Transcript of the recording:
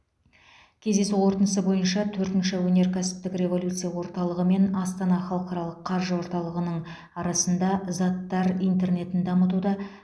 кездесу қорытындысы бойынша төртінші өнеркәсіптік революция орталығы мен астана халықаралық қаржы орталығының арасында заттар интернетін дамытуда